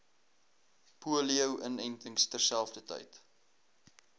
polio inentings terselfdertyd